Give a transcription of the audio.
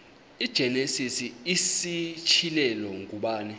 igenesis isityhilelo ngubani